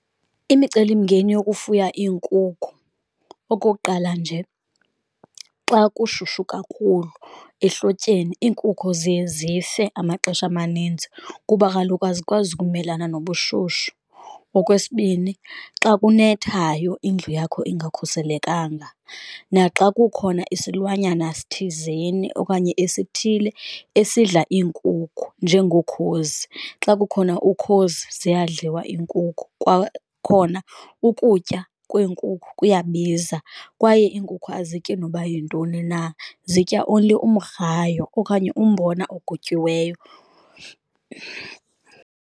Imicelimngeni yokufuya iinkukhu. Okokuqala, nje xa kushushu kakhulu ehlotyeni iinkukhu ziye zife amaxesha amaninzi kuba kaloku azikwazi ukumelana nobushushu. Okwesibini, xa kunethayo indlu yakho engakhuselekanga, naxa kukhona isilwanyana sithizeni okanye esithile esidla iinkukhu njengokhozi. Xa kukhona ukhozi ziyadliwa iinkukhu, kwakhona ukutya kweenkukhu kuyabiza, kwaye iinkukhu aziyityi noba yintoni na zitya only umgrayo okanye umbona ogutyiweyo.